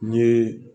N ye